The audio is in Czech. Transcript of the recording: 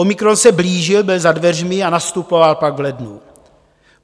Omikron se blížil, byl za dveřmi a nastupoval pak v lednu.